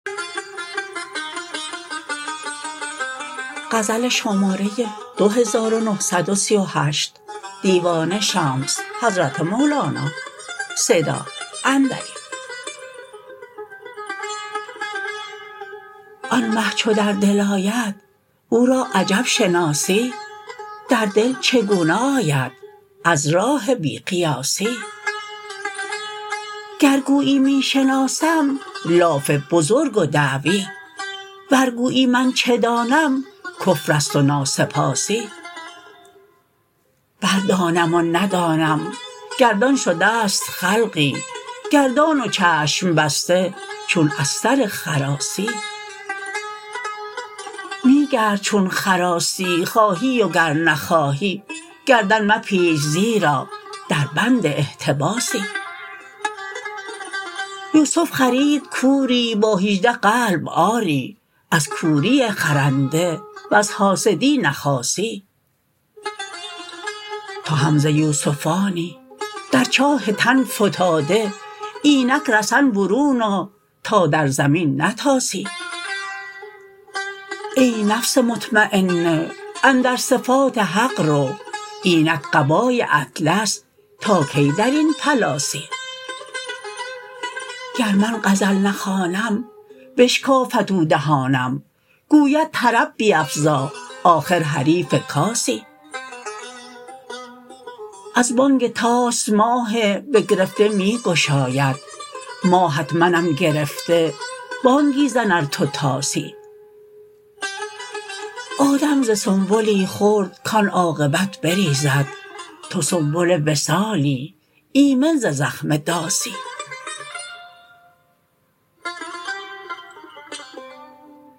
آن مه چو در دل آید او را عجب شناسی در دل چگونه آید از راه بی قیاسی گر گویی می شناسم لاف بزرگ و دعوی ور گویی من چه دانم کفر است و ناسپاسی بردانم و ندانم گردان شده ست خلقی گردان و چشم بسته چون استر خراسی می گرد چون خراسی خواهی و گر نخواهی گردن مپیچ زیرا دربند احتباسی یوسف خرید کوری با هیجده قلب آری از کوری خرنده وز حاسدی نخاسی تو هم ز یوسفانی در چاه تن فتاده اینک رسن برون آ تا در زمین نتاسی ای نفس مطمینه اندر صفات حق رو اینک قبای اطلس تا کی در این پلاسی گر من غزل نخوانم بشکافد او دهانم گوید طرب بیفزا آخر حریف کاسی از بانگ طاس ماه بگرفته می گشاید ماهت منم گرفته بانگی زن ار تو طاسی آدم ز سنبلی خورد کان عاقبت بریزد تو سنبل وصالی ایمن ز زخم داسی